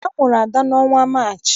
A mụrụ Ada n'ọnwa Maachị.